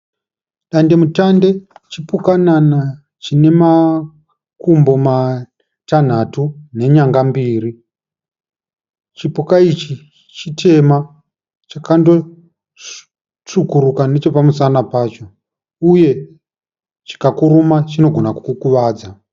Dandemutande chipukanana chinemakumbo matanhatu nenyanga mbiri. Chipuka ichi chitema chakanotsvukuruka nechepamusana pacho uye chikakuruma chinogona kukukuvadza